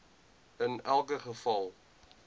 in elke geval